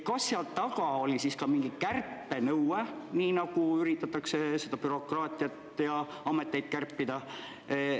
Kas seal taga oli ka mingi kärpenõue, nii nagu üritatakse seda bürokraatiat ja ameteid kärpida?